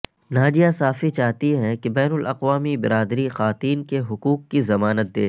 ناجیہ صافی چاہتی ہیں کہ بین الاقوامی برادری خواتین کے حقوق کی ضمانت دے